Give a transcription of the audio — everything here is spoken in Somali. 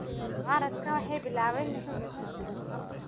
Mucaaradku waxay bilaabeen inay xoog yeeshaan sagaashamaadkii.